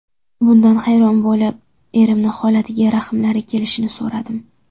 Bundan hayron bo‘lib, erimni holatiga rahmlari kelishini so‘radim.